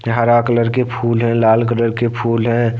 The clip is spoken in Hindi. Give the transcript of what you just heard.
हरा कलर के फूल हैलाल कलर के फूल है।